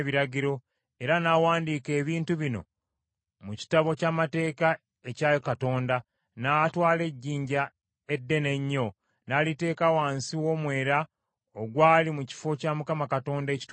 Era n’awandiika ebintu bino mu kitabo ky’amateeka ekya Katonda, n’atwala ejjinja eddene ennyo n’aliteeka wansi w’omwera ogwali mu kifo kya Mukama ekitukuvu.